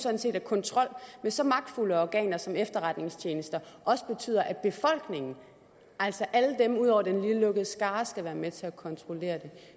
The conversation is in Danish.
sådan set at kontrol med så magtfulde organer som efterretningstjenester også betyder at befolkningen altså alle dem ud over den lille lukkede skare skal være med til at kontrollere det